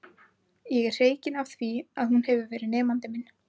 Ég er hreykinn af því að hún hefur verið nemandi minn.